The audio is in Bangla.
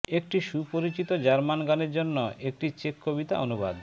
একটি সুপরিচিত জার্মান গানের জন্য একটি চেক কবিতা অনুবাদ